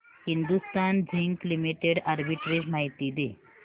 Hindustan zinc limited arbitrage माहिती दे